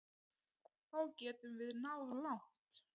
Þá getum við náð langt.